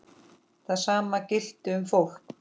Það sama gilti um fólk.